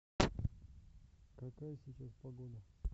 какая сейчас погода